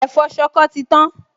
Ẹ̀fọ́ ṣọkọ ti tán